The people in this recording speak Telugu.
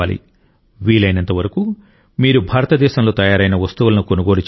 వీలైనంత వరకు మీరు భారతదేశంలో తయారైన వస్తువులను కొనుగోలు చేయాలి